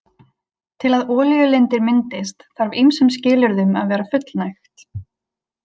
Til að olíulindir myndist þarf ýmsum skilyrðum að vera fullnægt.